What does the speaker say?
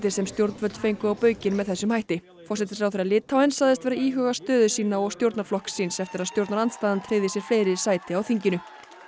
sem stjórnvöld fengu á baukinn með þessum hætti forsætisráðherra Litáens sagðist vera að íhuga stöðu sína og stjórnarflokks síns eftir að stjórnarandstaðan tryggði sér fleiri sæti á þinginu